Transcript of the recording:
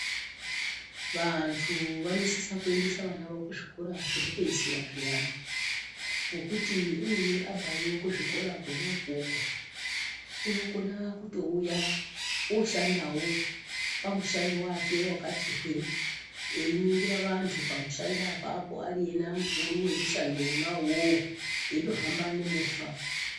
Vantu vanosisa kuendesavana vavo kuzvikora zvokupeisira zviyani, ngokuti umweni abvayo kuzvikora kona ukoko, unokona kutouya oshandawo pamushando wake wakati hwee, einingira vantu pamushando apapo ena ari mukuru wemushando wona uwowo, eitohamba nemovha.